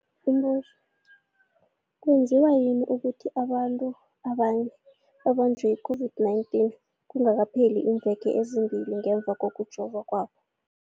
Umbuzo, kwenziwa yini ukuthi abanye abantu babanjwe yi-COVID-19 kungakapheli iimveke ezimbili ngemva kokujova kwabo?